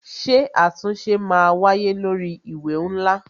Ṣé àtúnṣe máa wáyé lórí ìwé ńlá?